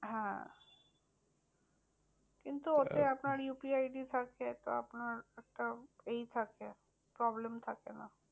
হ্যাঁ কিন্তু ওতে আপনার UPI ID থাকে তো আপনার একটা ই থাকে problem থাকে না।